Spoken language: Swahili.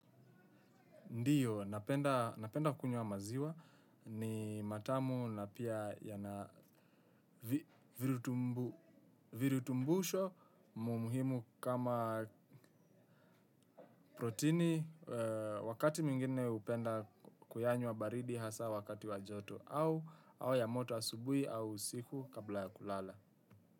Ndiyo, napenda kukunywa maziwa ni matamu na pia yana virutumbusho, mumuhimu kama protini. Wakati mwingine hupenda kuyanywa baridi I hasa wakati wa joto au ya moto asubuhi au usiku kabla ya kulala.